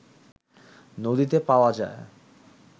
নদীতে পাওয়া যায়